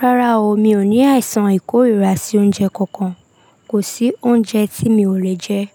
Rárá o, mi ò ní àìsàn ìkórìíra sí oúnjẹ kankan. Kò sí oúnjẹ tí mi ò lè jẹ.